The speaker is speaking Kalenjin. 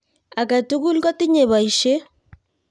Agetul kotinye baishet